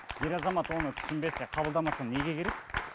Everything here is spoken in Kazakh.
ер азамат оны түсінбесе қабылдамаса неге керек